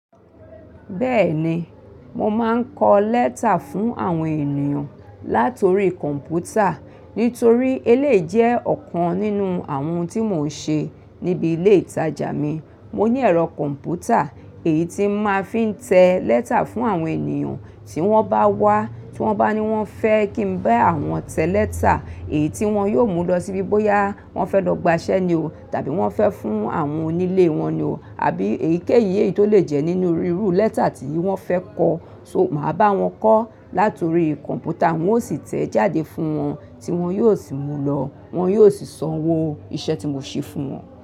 Bẹ́ẹ̀ni, mo máa ń kọ lẹ́tà fún àwọn ènìyàn látori kọ̀npútà. Nítorí eléyìí jẹ́ ọ̀kan nínú àwọn ohun tí mò ń ṣe níbi ilé ìtajà mi. Mo ní ẹ̀rọ kọ̀npútà èyí tí mo máa fi ń tẹ lẹ́tà fún àwọn ènìyàn tí wọ́n bá wá, tí wọ́n bá ní wọ́n fẹ́ kí n bá wọn tẹ lẹ́tà, èyí tí wọ́n yóò mú lọ sí bí bóyá wọ́n fẹ́ lọ gba iṣẹ́ ni o, tàbí wọ́n fẹ́ fún àwọn onílé wọn ni o, àbí èyíkéyìí tó lè jẹ́ nínú irú lẹ́tà tí wọ́n fẹ́ kọ. So, màá bá wọn kọ látori kọ̀npútà wọ́n ó sì tẹ ẹ́ jáde fún wọn tí wọ́n yóò sì mú lọ, wọ́n yóò sì sanwó iṣẹ́ tí mò ń ṣe fún wọn.